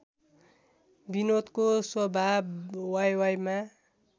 विनोदको स्वभाव वाइवाइमा